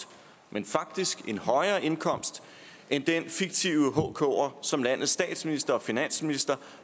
men faktisk en højere indkomst end den fiktive hker som landets statsminister og finansminister